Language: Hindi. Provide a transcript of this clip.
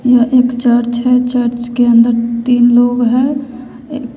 यह एक चर्च है चर्च के अंदर तीन लोग हैं।